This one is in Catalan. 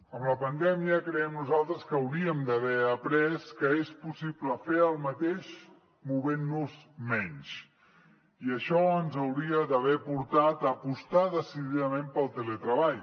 amb la pandèmia creiem nosaltres que hauríem d’haver après que és possible fer el mateix movent nos menys i això ens hauria d’haver portat a apostar decididament pel teletreball